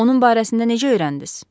Onun barəsində necə öyrəndiniz?